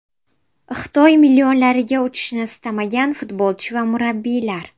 Xitoy millionlariga uchishni istamagan futbolchi va murabbiylar.